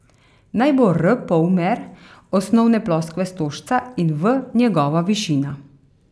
Naj bo r polmer osnovne ploskve stožca in v njegova višina.